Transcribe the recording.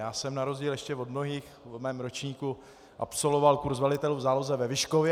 Já jsem na rozdíl ještě od mnohých v mém ročníku absolvoval kurs velitelů v záloze ve Vyškově.